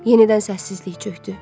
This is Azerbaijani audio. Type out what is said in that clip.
Yenidən səssizlik çökdü.